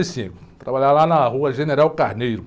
E cinco, trabalhava lá na rua General Carneiro.